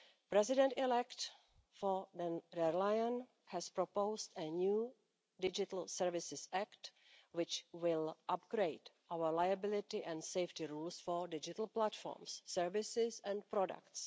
President elect von der Leyen has proposed a new digital services act, which will upgrade our liability and safety rules for digital platforms, services and products.